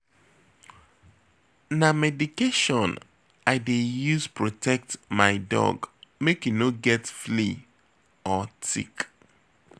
Na medication I dey use protect my dog make e no get flea or tick.